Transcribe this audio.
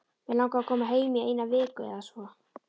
Mig langar að koma heim í eina viku eða svo.